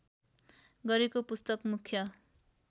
गरेको पुस्तक मुख्य